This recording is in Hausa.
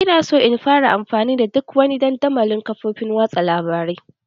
Ina so in fara amfani da duk dandamalin kafofin watsa labarai